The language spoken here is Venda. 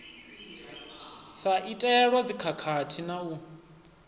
sa itelwa dzikhakhathi na u